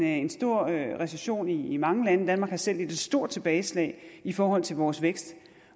en stor recession i mange lande danmark har selv lidt et stort tilbageslag i forhold til vores vækst